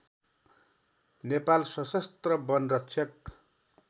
नेपाल शसस्त्र वन रक्षक